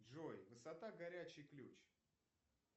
джой высота горячий ключ